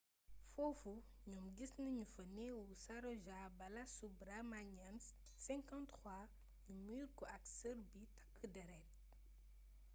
foofu ñoom gis nanu fa neewuu saroja balasubraamanian 53 nu muur ko ak sër bu takk deret